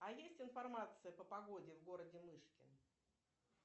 а есть информация по погоде в городе мышкин